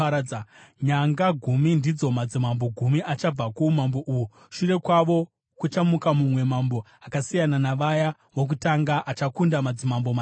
Nyanga gumi ndidzo madzimambo gumi achabva kuumambo uhu. Shure kwavo kuchamuka mumwe mambo, akasiyana navaya vokutanga; achakunda madzimambo matatu.